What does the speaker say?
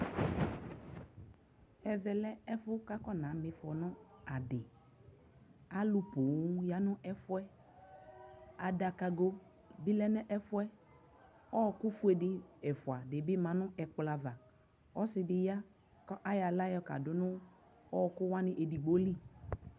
Ɛvɛ lɛ ɛfu ka afɔnama ifɔ nʋ adι Alʋ poo ya nʋ ɛf yɛ Adakago bι lɛ nʋ ɛfu yɛ, ɔɔkʋ fue ɛfua dι bι ma nʋ ɛkplɔ ava Ɔsidi ya kʋ ayɔ aɣla kadʋ nʋ ɔɔkʋ edigbo lι